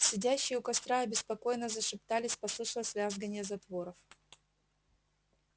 сидящие у костра обеспокоенно зашептались послышалось вязганье затворов